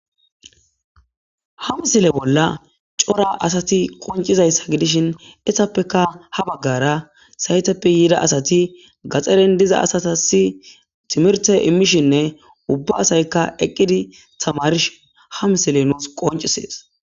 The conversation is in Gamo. Ha missile bolla c'ora asati qoncidaysa gidishin izzappeka ha bagara saytappeka yida asati gaxaren diza asatas timirte immishane ubba asayka eqidi tamarishe ha misiley nusi qonc'ises.